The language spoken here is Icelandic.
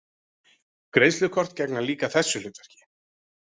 Greiðslukort gegna líka þessu hlutverki.